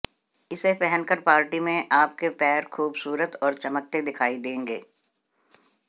इसे पहन कर पार्टी में आपके पैर खुबसूरत और चमकते दिखाई देंगे